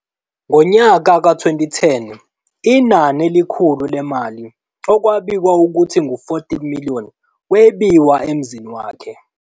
Ngonyaka ka 2010, inani elikhulu lemali, okwabikwa ukuba ngu-R14 million, webiwa emzini wakhe.